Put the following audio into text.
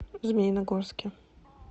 змеиногорске